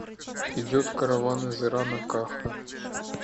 идет караван из ирана каха